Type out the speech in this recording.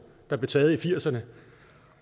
der blev taget i nitten firserne